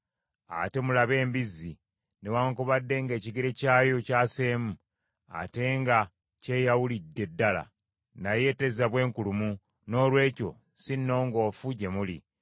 Ate mulabe embizzi, newaakubadde ng’ekigere kyayo kyaseemu, ate nga kyeyawulidde ddala, naye tezza bwenkulumu; noolwekyo si nnongoofu gye muli.